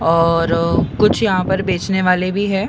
और कुछ यहां पर बेचने वाले भी है।